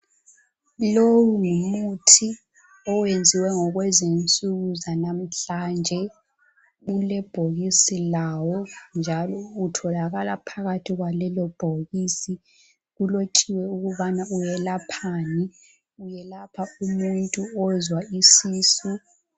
Lowu ngumuthi owenziwe ngokwezinsuku zanamuhlanje ulebhokisi lawo njalo utholakala phakathi kwalelo bhokisi kulotshiwe ukubana uyelaphani uyelapha umuntu ozwa isisu.